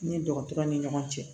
Ni dɔgɔtɔrɔ ni ɲɔgɔn cɛ